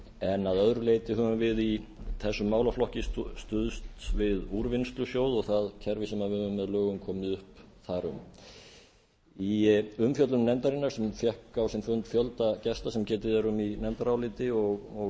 en að öðru leyti höfum við í þessum málaflokki stuðst við úrvinnslusjóð og það kerfi sem við höfum með lögum komið upp þar um í umfjöllun nefndarinnar sem fékk á sinn fund fjölda gesta sem getið er um í nefndaráliti og